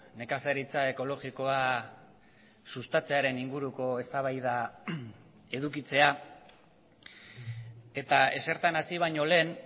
nekazaritza ekologikoa sustatzearen inguruko eztabaida edukitzea eta ezertan hasi baino lehen